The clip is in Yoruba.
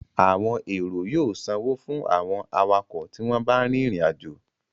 Àwọn èrò yóò sanwó fún àwọn awakọ̀ tí wọ́n bá ń rìnrìn àjò